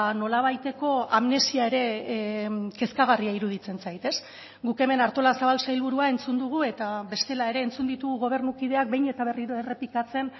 nolabaiteko amnesia ere kezkagarria iruditzen zait guk hemen artolazabal sailburua entzun dugu eta bestela ere entzun ditugu gobernukideak behin eta berriro errepikatzen